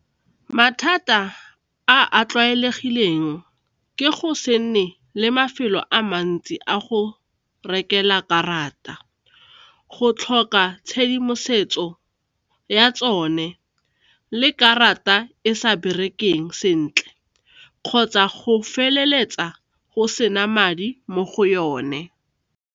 Mathata a a tlwaelegileng ke go se nne le mafelo a mantsi a go rekela karata, go tlhoka tshedimoso ya tsone le karata e sa berekeng sentle kgotsa go feleletsa go sena madi mo go yone.